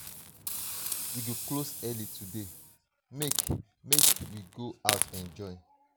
we go close early today .make .make we go out enjoy